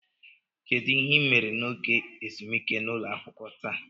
Kedu ihe ị mere n'oge ezumike n'ụlọ akwụkwọ taa?